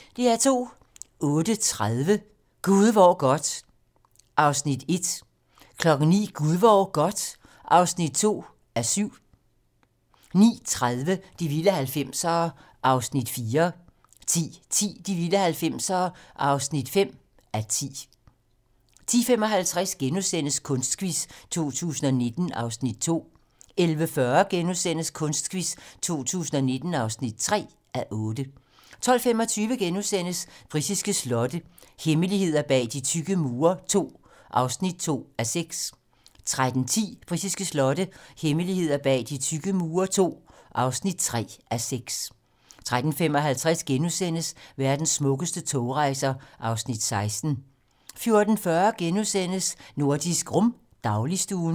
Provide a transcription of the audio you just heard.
08:30: Gud hvor godt (1:7) 09:00: Gud hvor godt (2:7) 09:30: De vilde 90'ere (4:10) 10:10: De vilde 90'ere (5:10) 10:55: Kunstquiz 2019 (2:8)* 11:40: Kunstquiz 2019 (3:8)* 12:25: Britiske slotte - hemmeligheder bag de tykke mure II (2:6)* 13:10: Britiske slotte - hemmeligheder bag de tykke mure II (3:6) 13:55: Verdens smukkeste togrejser (Afs. 16)* 14:40: Nordisk Rum - dagligstuen *